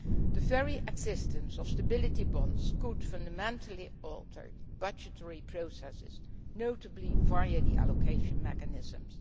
The very existence of stability bonds could fundamentally alter budgetary processes, notably via the allocation mechanisms.